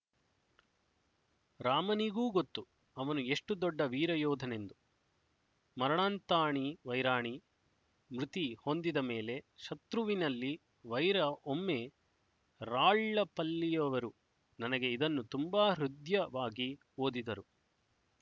ರಾಮನಿಗೂ ಗೊತ್ತುಅವನು ಎಷ್ಟು ದೊಡ್ಡ ವೀರಯೋಧನೆಂದು ಮರಣಾಂತಾಣಿ ವೈರಾಣಿ ಮೃತಿ ಹೊಂದಿದ ಮೇಲೆ ಶತ್ರುವಿನಲ್ಲಿ ವೈರ ಒಮ್ಮೆ ರಾಳ್ಳಪಲ್ಲಿಯವರು ನನಗೆ ಇದನ್ನು ತುಂಬಾ ಹೃದ್ಯವಾಗಿ ಓದಿದರು